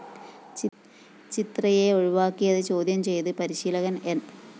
ചിത്രയെ ഒഴിവാക്കിയത് ചോദ്യം ചെയ്ത് പരിശീലകൻ ന്‌